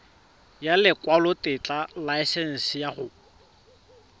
ya lekwalotetla laesense ya go